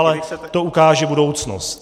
Ale to ukáže budoucnost.